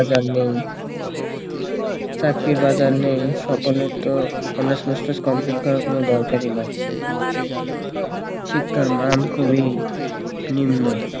চাকরির বাজার নেই সকলের তো honours masters complete করার কোনো দরকারই না শিক্ষার মান খুবই নিম্ন